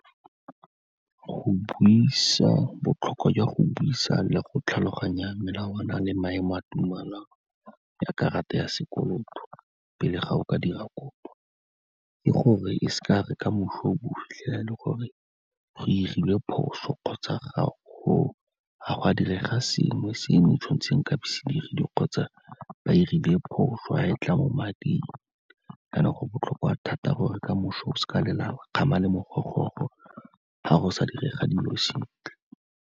Go buisa botlhokwa jwa go buisa le go tlhaloganya melawana le maemo a tumelano ya karata ya sekoloto pele ga o ka dira kopo, ke gore e se ya re kamoso o bo o fitlhela e le gore go 'irilwe phoso kgotsa ga gwa direga sengwe, sengwe tshwan'tse nkabe se dirilwe kgotsa ba 'irile phoso ga e tla mo mading. Kana go botlhokwa thata gore kamoso o seka lela wa kgama le mogogoro, ga go sa direga dilo sentle.